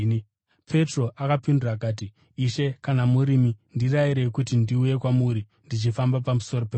Petro akapindura akati, “Ishe, kana murimi ndirayirei kuti ndiuye kwamuri ndichifamba pamusoro pemvura.”